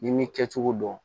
N'i m'i kɛcogo dɔn